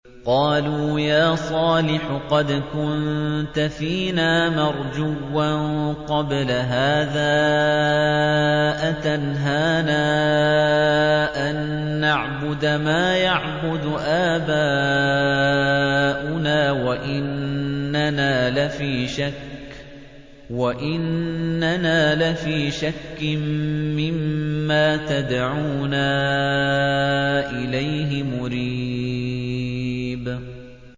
قَالُوا يَا صَالِحُ قَدْ كُنتَ فِينَا مَرْجُوًّا قَبْلَ هَٰذَا ۖ أَتَنْهَانَا أَن نَّعْبُدَ مَا يَعْبُدُ آبَاؤُنَا وَإِنَّنَا لَفِي شَكٍّ مِّمَّا تَدْعُونَا إِلَيْهِ مُرِيبٍ